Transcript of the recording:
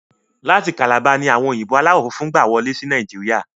Láti kalabá ni àwọn òyìnbó aláwọ funfun gbà wọlé sí ilẹ̀ Nàìjíríà